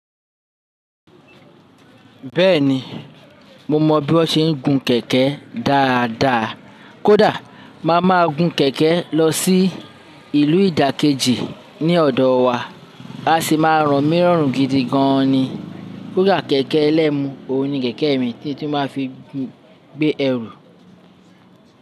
Bẹ́ẹ̀ni, mo mọ bí wọ́n ṣe ń gun kẹ̀kẹ́ dáadáa. Kódà máa ma gun kẹ̀kẹ́ lọ sí ìlú ìdákẹ́jì ní ọ̀dọ̀ wa, a si máa ràn mí rọ̀run gidi gan ni. Kódà kẹ̀kẹ́ ẹlẹ́mu òun ni kẹ̀kẹ́ mi tí ó tún máa fi gbé ẹrù.